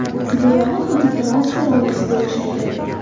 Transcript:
Buyog‘i xuddi transfer oynasiga o‘xshaydi.